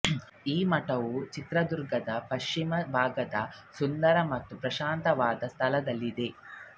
ಈ ಮಠವು ಚಿತ್ರದುರ್ಗದ ಪಶ್ಚಿಮ ಭಾಗದ ಸುಂದರ ಮತ್ತು ಪ್ರಶಾಂತವಾದ ಸ್ಥಳದಲ್ಲಿದೆ